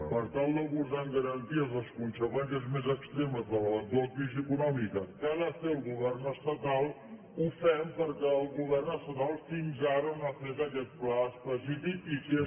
per tal d’abordar amb garanties les conseqüències més extremes de l’eventual crisi econòmica que ha de fer el govern estatal ho fem perquè el govern estatal fins ara no ha fet aquest pla específic i que és